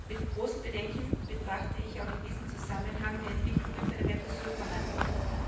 Mit großem Bedenken betrachte ich auch in diesem Zusammenhang die Entwicklungen bei den Mercosur Verhandlungen.